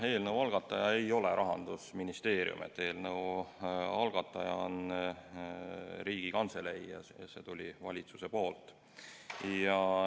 Eelnõu algataja ei ole Rahandusministeerium, eelnõu algataja on Riigikantselei ja see eelnõu tuli valitsuselt.